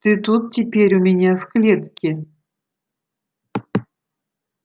ты тут теперь у меня в клетке